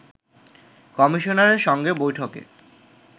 কমিশনারের সঙ্গে বৈঠকে